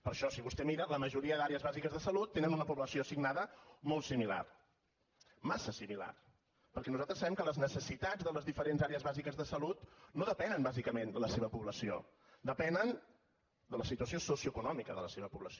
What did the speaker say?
per això si vostè mira la majoria d’àrees bàsiques de salut tenen una població assignada molt similar massa similar perquè nosaltres sabem que les necessitats de les diferents àrees bàsiques de salut no depenen bàsicament de la seva població depenen de la situació socioeconòmica de la seva població